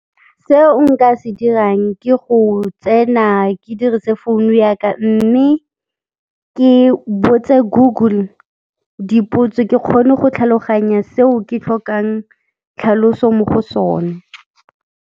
Seo nka se dirang ke go tsena ke dirise founu ya ka mme ke botse Google dipotso, ke kgone go tlhaloganya seo ke tlhokang tlhaloso mo go sone.